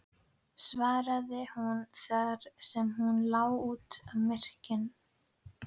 svaraði hún þar sem hún lá út af í myrkrinu.